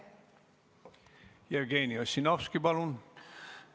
Jevgeni Ossinovski, palun!